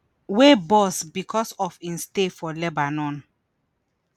wey burst bicos of im stay for lebanon